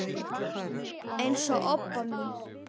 eins og Obba mín.